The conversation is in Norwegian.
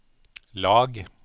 lag